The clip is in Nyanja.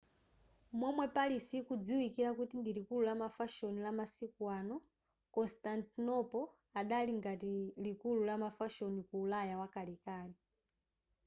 momwe paris ikudziwikira kuti ndi likulu lamafashoni lamasiku ano constantinople adali ngati likulu la mafashoni ku ulaya wakalekale